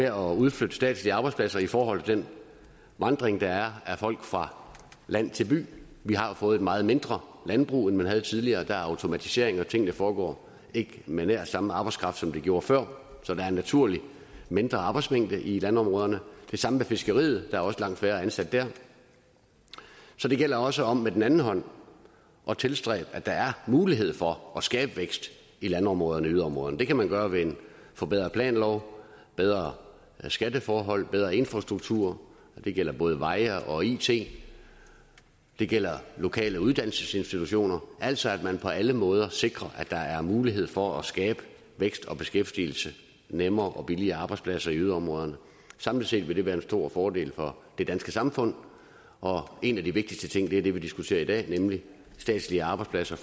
at udflytte statslige arbejdspladser i forhold til den vandring der er af folk fra land til by vi har fået et meget mindre landbrug end man havde tidligere der er automatisering og tingene foregår ikke med nær samme arbejdskraft som de gjorde før så der er en naturlig mindre arbejdsmængde i landområderne det samme med fiskeriet der er også langt færre ansatte der så det gælder også om med den anden hånd at tilstræbe at der er mulighed for at skabe vækst i landområderne og yderområderne det kan man gøre ved en forbedret planlov bedre skatteforhold bedre infrastruktur det gælder både veje og it det gælder lokale uddannelsesinstitutioner altså at man på alle måder sikrer at der er mulighed for at skabe vækst og beskæftigelse nemmere og billigere arbejdspladser i yderområderne samlet set vil det være en stor fordel for det danske samfund og en af de vigtigste ting er det vi diskuterer i dag nemlig at flytte statslige arbejdspladser